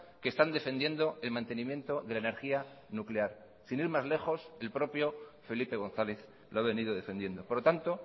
que están defendiendo el mantenimiento de la energía nuclear sin ir más lejos el propio felipe gonzález lo ha venido defendiendo por lo tanto